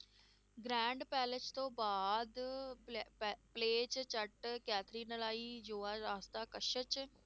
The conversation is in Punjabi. Grand palace ਤੋਂ ਬਾਅਦ ਪਲੈ~ ਪ~